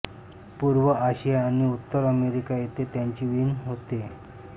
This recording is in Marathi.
पूर्व आशिया आणि उत्तर अमेरिका येथे त्यांची वीण होते